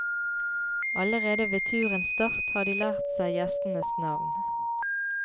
Allerede ved turens start har de lært seg gjestenes navn.